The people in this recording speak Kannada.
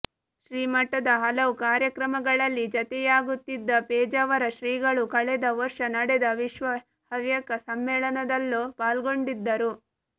ಶ್ರೀಮಠದ ಹಲವು ಕಾರ್ಯಕ್ರಮಗಳಲ್ಲಿ ಜತೆಯಾಗುತ್ತಿದ್ದ ಪೇಜಾವರ ಶ್ರೀಗಳು ಕಳೆದ ವರ್ಷ ನಡೆದ ವಿಶ್ವ ಹವ್ಯಕ ಸಮ್ಮೇಳನದಲ್ಲೂ ಪಾಲ್ಗೊಂಡಿದ್ದರು